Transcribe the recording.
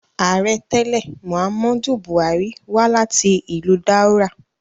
Aarẹ tẹlẹri, Muhammadu Buhari wa lati ilu Daura